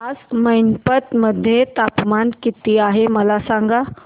आज मैनपत मध्ये तापमान किती आहे मला सांगा